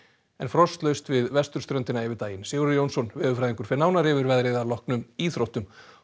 en frostlaust við vesturströndina yfir daginn Sigurður Jónsson veðurfræðingur fer nánar yfir veðrið að loknum íþróttum og